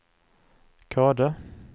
Kode